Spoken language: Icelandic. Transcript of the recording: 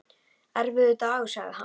Erfiður dagur sagði hann.